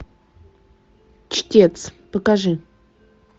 чтец покажи